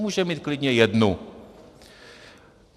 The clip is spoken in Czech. Můžeme mít klidně jednu.